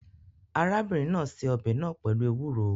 Arábìnrin náà se ọbẹ̀ náà pẹ̀lú ewuro